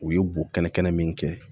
U ye bo kɛnɛ kɛnɛ min kɛ